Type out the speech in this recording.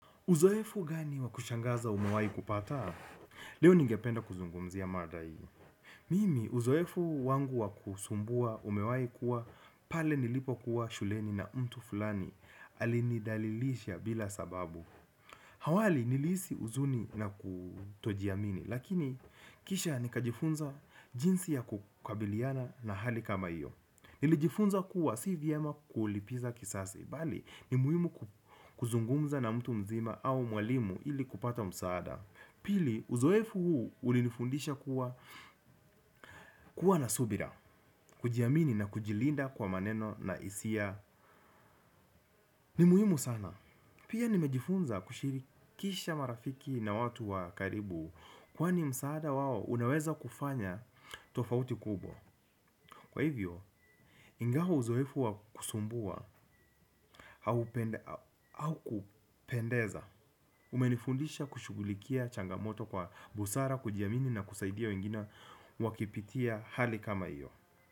Uzoefu gani wa kushangaza umewahi pata. Leo ningependa kuzungumzia mada hii. Mimi, uzoefu wangu wa kusumbua umewahi kuwa pale nilipo kuwa shuleni na mtu fulani alinidhalilisha bila sababu. Awali nilihisi huzuni na kutoji amini, lakini kisha nikajifunza jinsi ya kukabiliana na hali kama iyo. Nilijifunza kuwa si vyema kulipiza kisasi bali ni muhimu kuzungumza na mtu mzima au mwalimu ili kupata msaada. Pili uzoefu huu ulinifundisha kuwa na subira. Kujiamini na kujilinda kwa maneno na hisiia ni muhimu sana pia nimejifunza kushirikisha marafiki na watu wa karibu. Kwani msaada wao unaweza kufanya tofauti kubwa. Kwa hivyo, ingawa uzoefu wa kusumbua haukupendeza umenifundisha kushughulikia changamoto kwa busara kujiamini na kusaidia wengine wakipitia hali kama iyo.